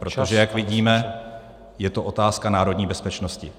Protože jak vidíme, je to otázka národní bezpečnosti.